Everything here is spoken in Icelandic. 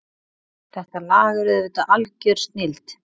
Þetta lag er auðvitað algjör snilld